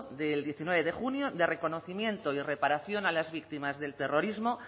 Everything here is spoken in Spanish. de diecinueve de junio de reconocimiento y reparación a las víctimas del terrorismo